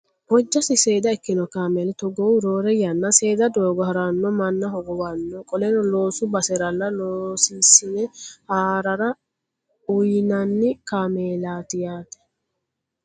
Hojjasi seeda ikkino kaameli togoohu roore yanna seeda doogo haranno manna hogowanno. Qoleno loosu baseralla loosasine haarara uyiinanni kaamelati yaate.